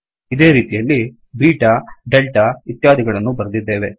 ಇದೇ ರೀತಿಯಲ್ಲಿ beta delta ಇತ್ಯಾದಿಗಳನ್ನೂ ಬರೆದಿದ್ದೇವೆ